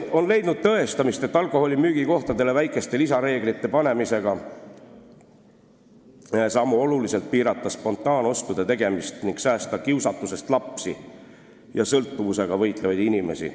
On leidnud tõestamist, et alkoholimüügikohtadele väikeste lisareeglite kehtestamisega saame oluliselt piirata spontaanostude tegemist ning säästa kiusatusest lapsi ja sõltuvusega võitlevaid inimesi.